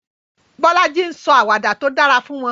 Bolaji ń sọ àwàdà tó dára fún wọn.